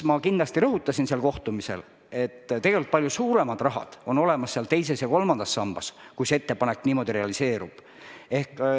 Ma kindlasti rõhutasin seal kohtumisel, et tegelikult on palju suuremad summad seal teises ja kolmandas sambas, kui see ettepanek sellisena realiseerub.